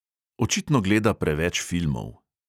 Očitno gleda preveč filmov.